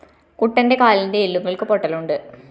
കുട്ടന്റെ കാലിന്റെ എല്ലുകള്‍ക്ക് പൊട്ടലുണ്ട്